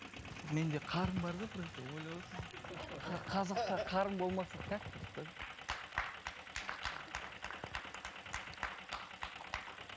мен де қарын бар да просто ойлап отырмын қазақта қарын болмаса как так